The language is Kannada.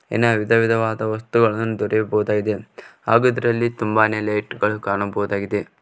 ಏನ ವಿಧ ವಿಧವಾದ ವಸ್ತುಗಳನ್ನು ದೊರೆಯಬಹುದಾಗಿದೆ ಹಾಗು ಅದ್ರಲ್ಲಿ ತುಂಬಾನೆ ಲೈಟ್ ಗಳು ಕಾಣಬಹುದಾಗಿದೆ.